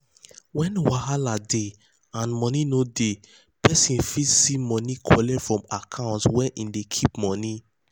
when wahala dey and money no dey peson fit see money collect from account where hin dey keep money.